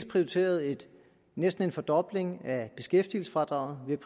prioriteret næsten en fordobling af beskæftigelsesfradraget